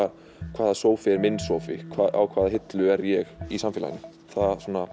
hvaða sófi er minn sófi á hvaða hillu er ég í samfélaginu það svona